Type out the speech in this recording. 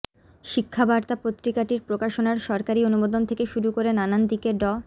শিক্ষাবার্তা পত্রিকাটির প্রকাশনার সরকারী অনুমোদন থেকে শুরু করে নানান দিকে ড